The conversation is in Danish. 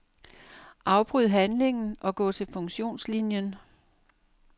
Afbryd handlingen og gå til funktionslinien.